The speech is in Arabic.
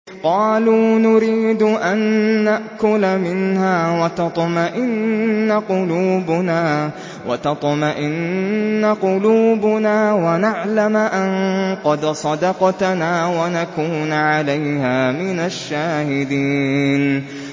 قَالُوا نُرِيدُ أَن نَّأْكُلَ مِنْهَا وَتَطْمَئِنَّ قُلُوبُنَا وَنَعْلَمَ أَن قَدْ صَدَقْتَنَا وَنَكُونَ عَلَيْهَا مِنَ الشَّاهِدِينَ